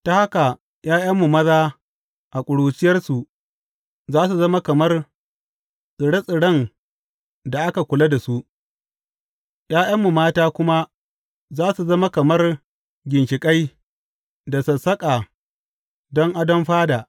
Ta haka ’ya’yanmu maza a ƙuruciyarsu za su zama kamar tsire tsiren da aka kula da su, ’ya’yanmu mata kuma za su zama kamar ginshiƙai da sassaƙa don adon fada.